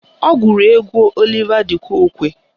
Ọ gụrụ egwu Oliva d Kokwe